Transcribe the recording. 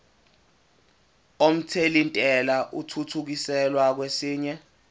omthelintela athuthukiselwa kwesinye